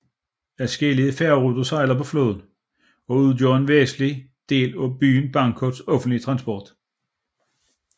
Adskillige færgeruter sejler på floden og udgør en væsentlig del af byens Bangkoks offentlige transport